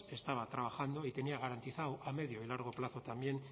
estaba trabajando y tenía garantizado a medio y largo plazo también